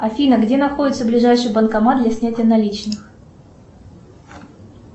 афина где находится ближайший банкомат для снятия наличных